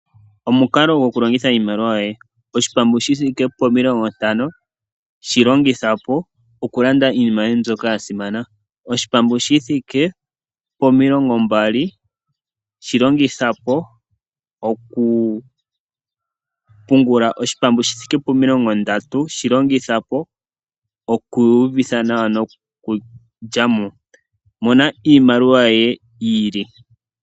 Omukalo goku longitha iimaliwa yoye, oshipambu shithiki pomilongo ntano shilongitha po oku landa iinima yoye mbyoka yasimana ,oshipambu shithike pomilongo mbali shilongithapo oku pungula, oshipambu shithike pomilongo ndatu shilongithapo okwiiyuvitha nawa noku lyamo mona iimaliwa yoye yiili .